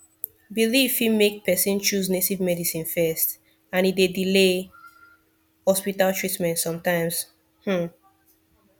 belief fit make person choose native medicine first and e dey delay hospital treatment sometimes um